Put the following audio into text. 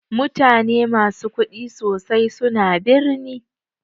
Mutane musu kuɗi sosai suna birni.